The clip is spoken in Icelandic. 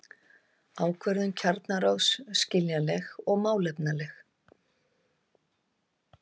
Ákvörðun kjararáðs skiljanleg og málefnaleg